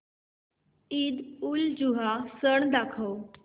ईदउलजुहा सण दाखव